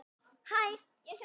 Hvað vill hann gera?